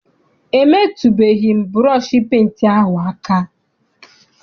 Emetụbeghi m burọshi penti ahụ aka.